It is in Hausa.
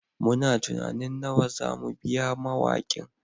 Muna tunanin nawa za mu biya mawakin